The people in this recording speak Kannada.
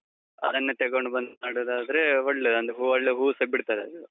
ಅದನ್ನೆ ತೆಗೊಂಡು ಬಂದು ಮಾಡುವುದಾದ್ರೇ ಒಳ್ಳೇದು. ಅಂದ್ರೆ ಹೂವು, ಒಳ್ಳೆ ಹೂವುಸ ಬಿಡ್ತದೆ ಅದ್ರಲ್ಲಿ.